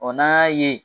n'an y'a ye